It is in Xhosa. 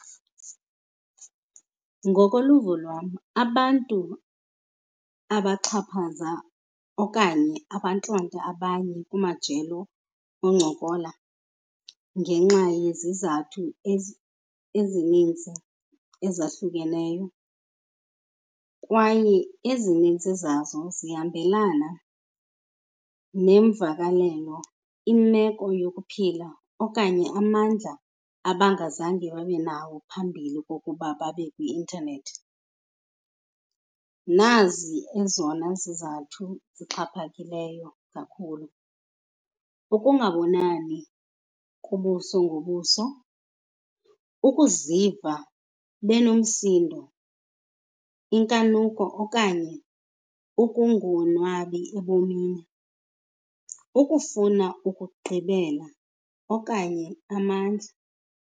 Ngokoluvo lwam, abantu abaxhaphaza okanye abantlonta abanye kumajelo oncokola ngenxa yezizathu ezi ezininzi ezahlukeneyo kwaye ezinintsi zazo zihambelana nemvakalelo, imeko yokuphila okanye amandla abangazange babenawo phambili kokuba babe kwi-intanethi. Nazi ezona zizathu zixhaphakileyo kakhulu. Ukungabonani ubuso ngobuso, ukuziva benomsindo, inkanuko okanye ukungonwabi ebomini, ukufuna ukugqibela okanye amandla.